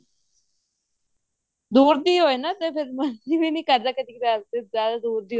ਦੁਉਰ ਦੀ ਹੋਏ ਨਾ ਫ਼ੇਰ ਮਨ ਵੀ ਨੀ ਕਰਦ ਕਦੀ ਕ੍ਦਾਰ ਤੇ ਜਿਆਦਾ ਦੁਰ